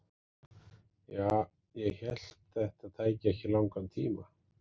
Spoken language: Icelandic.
Ja, ég hélt þetta tæki ekki langan tíma.